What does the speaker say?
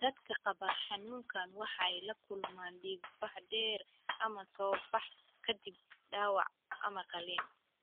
Dadka qaba xanuunkaan waxay la kulmaan dhiig-bax dheer ama soo bax ka dib dhaawac ama qaliin.